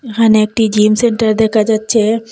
এখানে একটি gym centre দেখা যাচ্ছে।